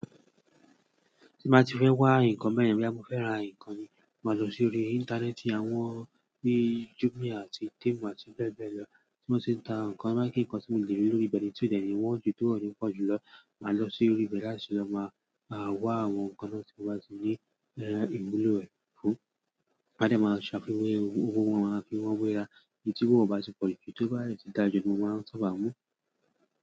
Tí n bá ti fẹ́ wá ǹkan bẹ̀yén, boyà mò fé rà ǹkan ni, máa lọ sí orí Íńtánẹ́ẹ̀tì àwọn bíi Jumia àti Temu àti bẹ́ẹ̀ bẹ́ẹ̀ lọ, tí wọ́n tì ń ta ǹkan, bá pè ǹkan tí mo lè rí lórí ibẹ̀ ni tí òdẹ́ ni wọ́n ju tó ọ̀ọ́ni pọ̀ jù lọ. Màá lọ sí orí ibẹ̀ láti lọ má maa wá àwọn ǹkan náà tí mo bá ti ní ẹ ni iwulo rẹ̀ fún. Má dè máa ṣàfiwé owó wọn máa fi wọ́n wéra, èyí tí owó è ò bá ti pọ̀ jù èyí tí ó bá dẹ̀ ti dáa jù ni mo máa n sábà mú.